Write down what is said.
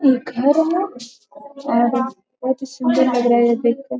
एक घर है और बहुत सुंदर लग रहा है ये देख कर।